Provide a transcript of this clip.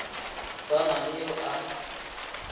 sa na le yo a